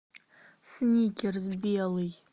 сникерс белый